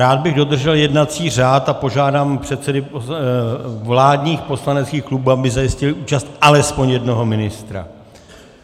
Rád bych dodržel jednací řád a požádám předsedy vládních poslaneckých klubů, aby zajistili účast alespoň jednoho ministra.